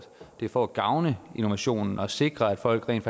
det er for at gavne innovationen og sikre at folk rent